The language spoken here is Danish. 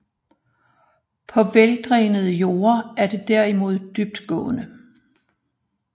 På veldrænede jorde er det derimod dybtgående